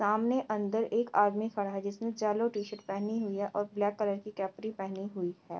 सामने अन्दर एक आदमी खड़ा है जिसने येलो टी-शर्ट पहेनी हुई है ओर् ब्लेक कलर की केप्री पहेनी हुई है।